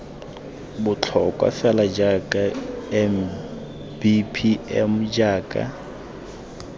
botlhokwa fela jaaka mbpm jaaka